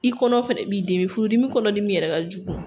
I kɔnɔ fɛnɛ b'i dimi, furudimi kɔnɔ dimi yɛrɛ ka jugu.